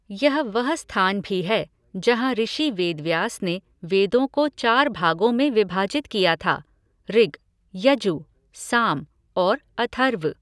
यह वह स्थान भी है जहाँ ऋषि वेदव्यास ने वेदों को चार भागों में विभाजित किया था ऋग, यजु, साम और अथर्व।